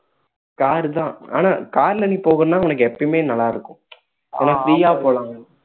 car தான் ஆனால் car ல நீ போகணும்னா உனக்கு எப்பயுமே நல்லா இருக்கும் ஏன்னா free ஆ போலாம்